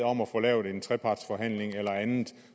om at få lavet en trepartsforhandling eller andet